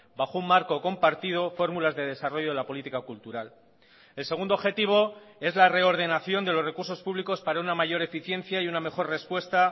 bajo un marco compartido fórmulas de desarrollo de la política cultural el segundo objetivo es la reordenación de los recursos públicos para una mayor eficiencia y una mejor respuesta